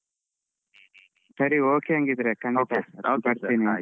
ಸರಿ okay ಹಂಗಿದ್ರೆ ಖಂಡಿತ ಬರ್ತೀನಿ.